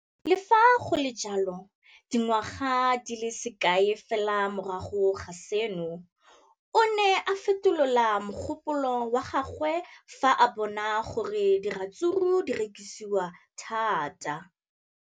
Le fa go le jalo, dingwaga di se kae fela morago ga seno, o ne a fetola mogopolo wa gagwe fa a bona gore diratsuru di rekisiwa thata.